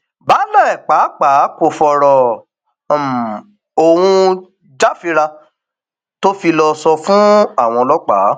baálé pàápàá kò fọrọ um ohun jàfírà tó fi lọọ sọ um fáwọn ọlọpàá